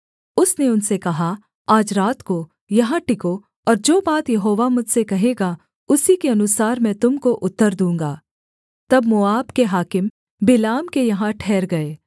उसने उनसे कहा आज रात को यहाँ टिको और जो बात यहोवा मुझसे कहेगा उसी के अनुसार मैं तुम को उत्तर दूँगा तब मोआब के हाकिम बिलाम के यहाँ ठहर गए